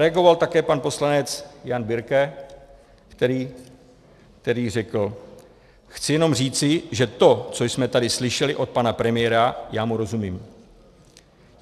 Reagoval také pan poslanec Jan Birke, který řekl: "Chci jenom říci, že to, co jsme tady slyšeli od pana premiéra, já mu rozumím.